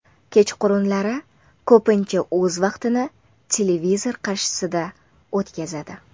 Kechqurunlari ko‘pincha o‘z vaqtini televizor qarshisida o‘tkazadi.